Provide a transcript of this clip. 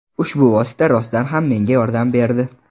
Ushbu vosita rostdan ham menga yordam berdi.